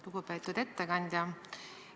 Lugupeetud ettekandja!